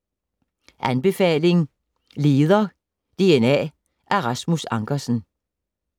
Anbefaling: Leder DNA af Rasmus Ankersen